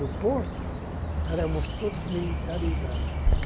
No porto, éramos todos militarizado.